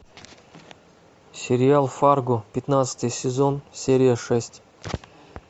сериал фарго пятнадцатый сезон серия шесть